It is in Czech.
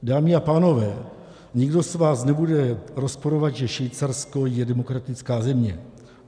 Dámy a pánové, nikdo z vás nebude rozporovat, že Švýcarsko je demokratická země.